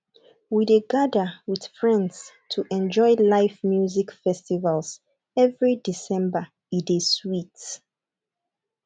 we dey gather with friends to enjoy live music festival every december e dey sweet